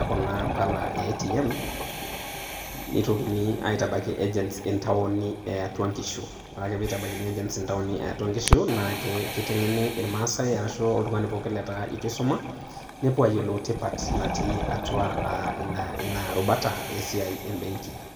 okuna paala e ATMS. neitokini aitabaki agents itaoni eatua nkishu ,ore ake pitabaikini agents eatua nkishu na kitangeni ilmasae ashu oltungani pooki leeta etu isuma nepuo ayiolou tipat naati atua ina ina rubata esiai ebenki .